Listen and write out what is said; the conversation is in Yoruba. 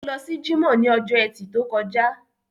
Ó lọ sí jímọ̀ ní ọjọ́ ẹtì tó kọjá